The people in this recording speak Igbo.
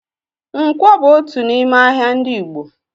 Ǹkwọ bú otu n'ime ahịa ndị Igbo